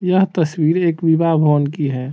यह तस्वीर एक विवाह भवन की है।